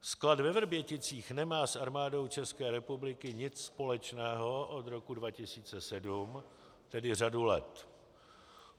Sklad ve Vrběticích nemá s Armádou České republiky nic společného od roku 2007, tedy řadu let.